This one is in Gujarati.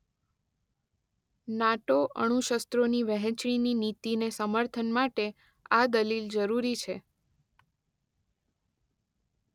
નાટો અણુશસ્ત્રોની વહેંચણીની નીતિને સમર્થન માટે આ દલીલ જરૂરી છે